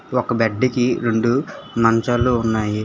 ఒక బెడ్డికి రెండు మంచాలు ఉన్నాయి.